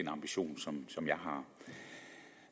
ambition som